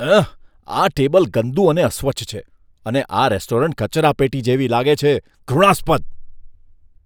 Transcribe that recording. એહ! આ ટેબલ ગંદુ અને અસ્વચ્છ છે અને આ રેસ્ટોરન્ટ કચરાપેટી જેવી લાગે છે, ઘૃણાસ્પદ! !